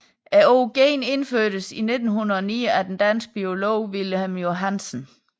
Ordet gen indførtes i 1909 af den danske biolog Wilhelm Johannsen